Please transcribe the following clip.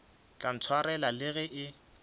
tla ntshwarela le ge e